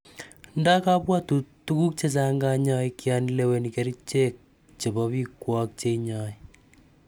ndo kabwatut tuguk chechang kanyoig yan lewenii kericheg chebo pikwag che inyaii